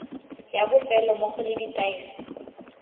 ya bofelo mmogo le ditaelo